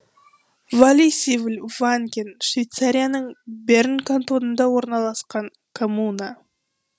валлисивл ванген швейцарияның берн кантонында орналасқан коммуна